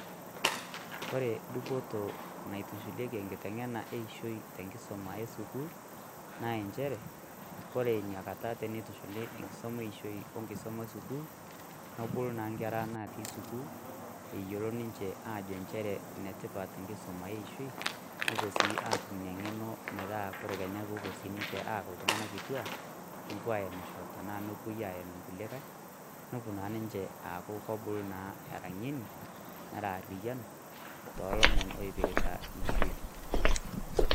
Kore dupoto naitushulieki enkiteng'ena eishoi tenkisuma esukuul, naa njere, kore inakata tenitushuli enkisuma enkisuma eishoi onkisuma esukuul, nobulu naa nkera natii sukuul, eyiolo ninche ajo njere enetipat enkisuma eishoi, nopuo si atum ina ng'eno metaa kore kenya popuo sinche aaku iltung'anak kituak, nopuo aemisho tanaa nopoi aem inkulikae, nopuo naa ninche aaku kobulu naa era ng'eni, nera arriyian, tolomon oipirta eishoi.